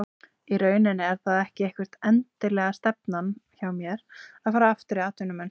Í rauninni er það ekki eitthvað endilega stefnan hjá mér að fara aftur í atvinnumennsku.